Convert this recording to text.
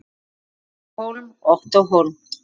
Kristín Hólm og Ottó Hólm.